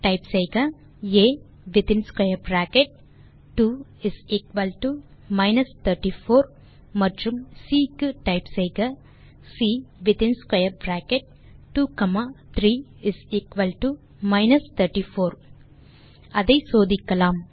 type செய்க a within square bracket 2 minus 34 மற்றும் C க்கு டைப் செய்க C within square bracket 2 comma 3 minus 34 அதை சோதிக்கலாம்